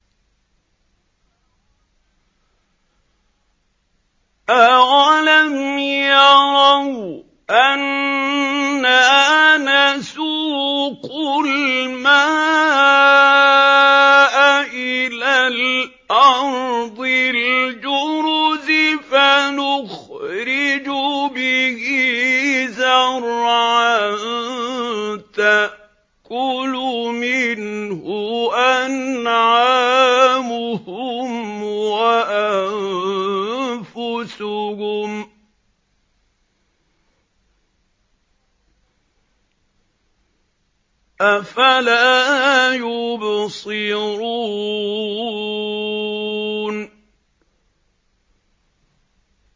أَوَلَمْ يَرَوْا أَنَّا نَسُوقُ الْمَاءَ إِلَى الْأَرْضِ الْجُرُزِ فَنُخْرِجُ بِهِ زَرْعًا تَأْكُلُ مِنْهُ أَنْعَامُهُمْ وَأَنفُسُهُمْ ۖ أَفَلَا يُبْصِرُونَ